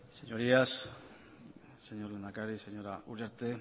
señorías señor lehendakari señora uriarte